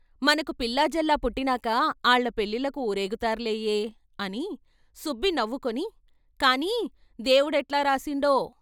మనకు పిల్లాజల్లా పుట్టినాక ఆళ్ళ పెళ్ళిళ్ళకు వూరేగు తారులేయె " అని. సుబ్బి నవ్వుకుని " కానీ, దేవుడెట్లా రాసిండో !